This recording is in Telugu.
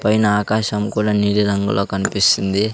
పైన ఆకాశం కూడా నీలి రంగులో కన్పిస్తుంది.